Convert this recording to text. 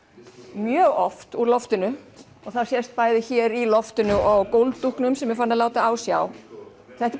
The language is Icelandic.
mjög oft úr loftinu og það sést bæði hér í loftinu og á gólfdúknum sem er farinn að láta á sjá þetta er